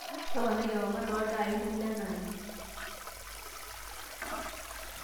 toponai ewangan oltaai muuj lenaaji